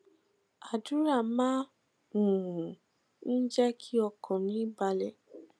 àdúrà máa um ń jé kí ọkàn mi balè